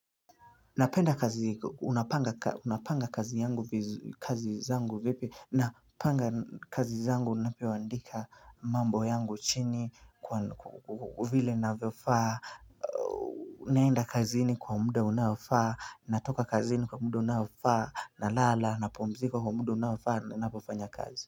Napenda kazi unapanga kazi yangu vizu kazi zangu vipi napanga kazi zangu napewandika mambo yangu chini kwa vile navofaa naenda kazini kwa muda unaofaa natoka kazini kwa muda unaofaa na lala napumzika kwa muda unaofaa ninapo fanya kazi.